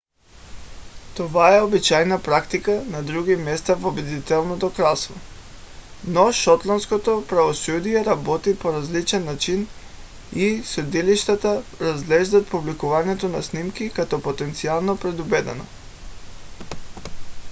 това е обичайна практика на други места в обединеното кралство но шотландското правосъдие работи по различен начин и съдилищата разглеждат публикуването на снимки като потенциално предубедено